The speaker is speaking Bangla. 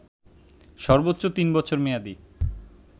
সর্বোচ্চ তিন বছর মেয়াদি